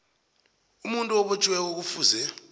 umuntu obotjhiweko kufuze